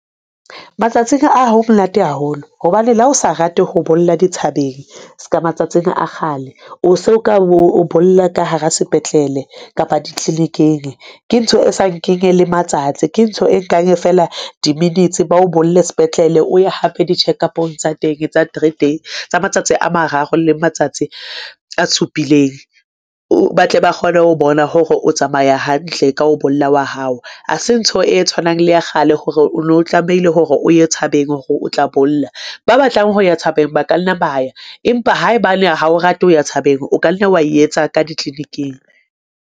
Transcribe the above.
Matsatsing a ho monate haholo hobane le ha o sa rate ho bolla di thabeng ska matsatsing a kgale o so ka o bolla ka hara sepetlele kapa di-clinic-eng, ke ntho e sa nkeng le matsatsi ke ntho e nkang fela di-minites ba o bolla se\petlele. O ye hape di-check-up-ong tsa teng tsa three, tsa matsatsi a mararo le matsatsi a supileng. O batle ba kgone ho bona hore o tsamaya hantle ka ho bolla wa hao. Ha se ntho e tshwanang le ya kgale, ho hore o no tlamehile hore o ye tshabeng hore o tla bolla. Ba batlang ho ya thabeng ba ka nna ba ya, empa haebane ha o rate ho ya thabeng, o ka nna wa etsa ka di-clinic-ing.